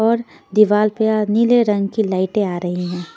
और दीवार पे आ नीले रंग की लाइटे आ रही--